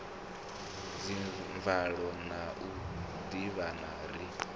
dzimvalo na u ḓivhana ri